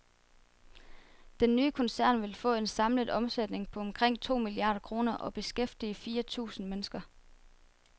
Den nye koncern vil få en samlet omsætning på omkring to milliarder kroner og beskæftige fire tusind hundrede mennesker.